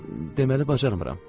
Deməli bacarmıram.